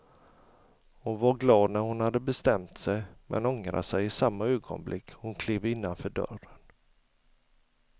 Hon var glad när hon hade bestämt sig men ångrade sig i samma ögonblick hon klev innanför dörren.